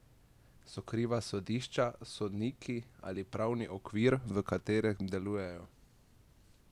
So kriva sodišča, sodniki ali pravni okvir, v katerem delujejo?